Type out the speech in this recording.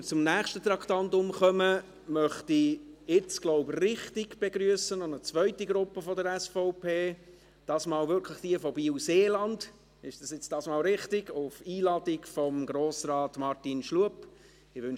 Bevor wir zum nächsten Traktandum kommen, möchte ich jetzt noch eine zweite Gruppe der SVP richtig begrüssen, dieses Mal wirklich jene von Biel-Seeland, die auf Einladung von Grossrat Martin Schlup anwesend sind.